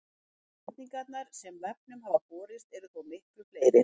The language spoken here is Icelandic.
Spurningarnar sem vefnum hafa borist eru þó miklu fleiri.